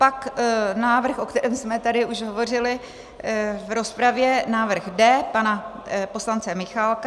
Pak návrh, o kterém jsme tady už hovořili v rozpravě, návrh D pana poslance Michálka.